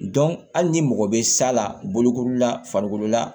hali ni mɔgɔ bɛ sa la bolokoli la farikolo la